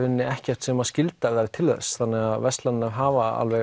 ekkert sem skyldar þau til þess þannig að verslanirnar hafa alveg